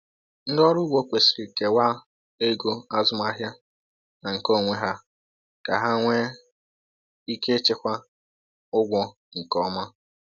Ndị ọrụ ugbo kwesịrị kewaa ego azụmahịa na nke onwe ha ka ha nwee ike ịchịkwa ụgwọ nke ọm